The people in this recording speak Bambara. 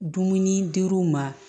Dumuni dir'u ma